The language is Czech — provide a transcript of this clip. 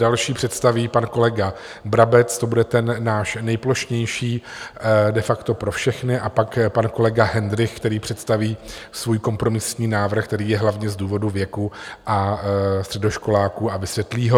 Další představí pan kolega Brabec, to bude ten náš nejplošnější, de facto pro všechny, a pak pan kolega Hendrych, který představí svůj kompromisní návrh, který je hlavně z důvodu věku a středoškoláků, a vysvětlí ho.